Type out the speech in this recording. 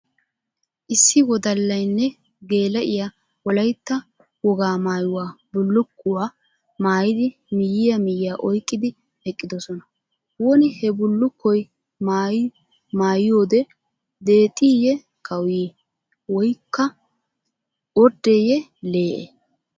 Issi wodallaynne geela"iyaa wolayitta wogaa maayuwa bullulkkuwaa maayidi miyiya miyiya oyqqidi eqqidosona. Woni he bullukkoy maayiyoode deexxiye kawuyii woykka orddeeyye lee"e?